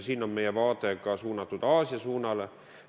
Siin on meie vaade ka suunatud Aasiale.